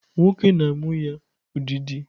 Nwoke na-amụ ya ụdịdị.